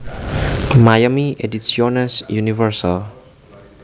Miami Ediciones Universal